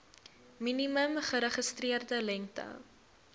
minimum geregistreerde lengte